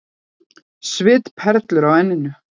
Svitaperlur á enninu.